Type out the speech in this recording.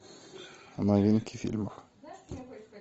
новинки фильмов